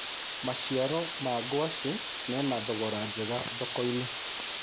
maciaro ma ngwaci mena thogora njega thoko-inĩ